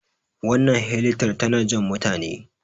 wannan helitar tana Jan mutane